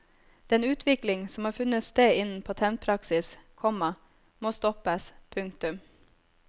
Den utvikling som har funnet sted innen patentpraksis, komma må stoppes. punktum